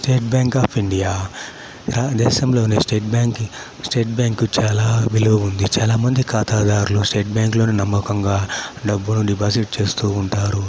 State Bank of India . దేశంలోనే State బ్యాంకి State Bank కు చాలా విలువ ఉంద. చాలామంది ఖాతాదారులు స్టేట్ బ్యాంక్ లోనే నమ్మకంగా డబ్బులు డిపాజిట్ చేస్తూ ఉంటారు.